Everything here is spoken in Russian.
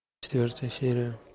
четвертая серия